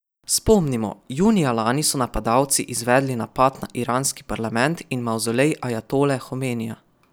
Spomnimo, junija lani so napadalci izvedli napad na iranski parlament in mavzolej ajatole Homenija.